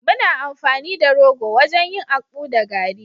muna amfani da rogo wajen yin akpu da garri